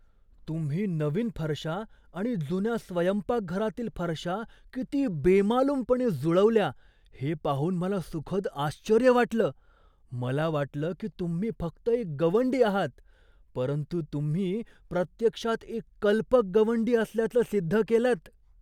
तुम्ही नवीन फरशा आणि जुन्या स्वयंपाकघरातील फरशा किती बेमालूमपणे जुळवल्या हे पाहून मला सुखद आश्चर्य वाटलं. मला वाटलं की तुम्ही फक्त एक गवंडी आहात, परंतु तुम्ही प्रत्यक्षात एक कल्पक गवंडी असल्याचं सिद्ध केलंत.